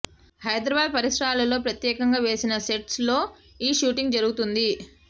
హైదరాబాద్ పరిసరాల్లో ప్రత్యేకంగా వేసిన సెట్స్ లో ఈ షూటింగ్ జరుగుతోంది